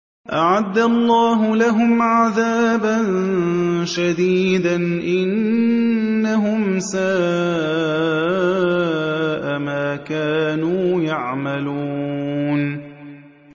أَعَدَّ اللَّهُ لَهُمْ عَذَابًا شَدِيدًا ۖ إِنَّهُمْ سَاءَ مَا كَانُوا يَعْمَلُونَ